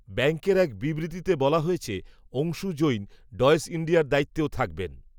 ব্যাঙ্কের এক বিবৃতিতে বলা হয়েছে, অংশু জৈন, ডয়েশ ইণ্ডিয়ার দায়িত্বেও থাকবেন